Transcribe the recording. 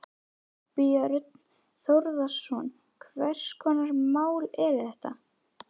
Þorbjörn Þórðarson: Hvers konar mál eru þetta?